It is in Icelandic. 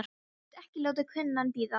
Ég get ekki látið kúnnann bíða.